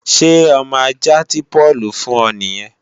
Ṣé ọmọ ajạ́ tí Páùlù fùn ọ nìyẹn?